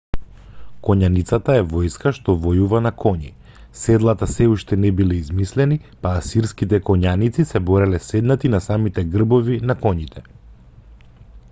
коњаницата е војска што војува на коњи. седлата сѐ уште не биле измислени па асирските коњаници се бореле седнати на самите грбови на коњите